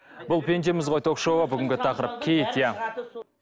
бұл пендеміз ғой ток шоуы бүгінгі тақырып киіт иә